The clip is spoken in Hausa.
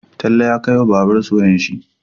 Talle ya kai wa babbansu wayar shi